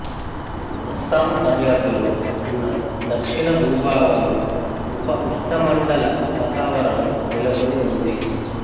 అస్సాం సరిహద్దులో ఉన్న దక్షిణ భూభాగంలో ఉప ఉష్ణమండల వాతావరణం నెలకొని ఉంది